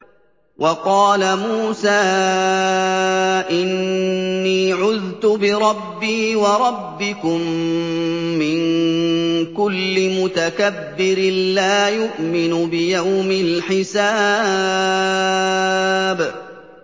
وَقَالَ مُوسَىٰ إِنِّي عُذْتُ بِرَبِّي وَرَبِّكُم مِّن كُلِّ مُتَكَبِّرٍ لَّا يُؤْمِنُ بِيَوْمِ الْحِسَابِ